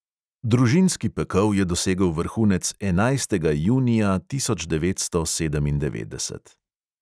Družinski pekel je dosegel vrhunec enajstega junija tisoč devetsto sedemindevetdeset.